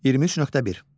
23.1.